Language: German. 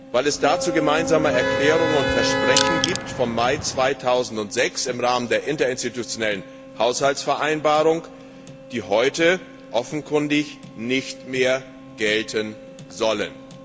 weil es dazu gemeinsame Erklärungen und Versprechen vom Mai 2006 im Rahmen der Interinstitutionellen Haushaltsvereinbarung gibt, die heute offenkundig nicht mehr gelten sollen.